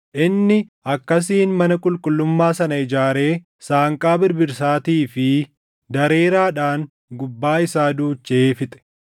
Inni akkasiin mana qulqullummaa sana ijaaree saanqaa birbirsaatii fi dareeraadhaan gubbaa isaa duuchee fixe.